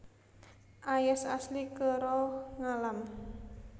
Ayas asli kèra ngalam